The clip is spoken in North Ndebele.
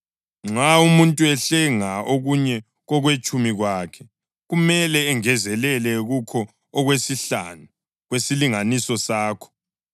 Nxa umuntu ehlenga okunye kokwetshumi kwakhe, kumele engezelele kukho okwesihlanu kwesilinganiso sakho.